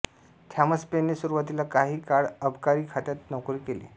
Thomas पेनने सुरुवातीला काही काळ अबकारी खात्यात नोकरी केली